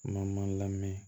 Ma lamɛn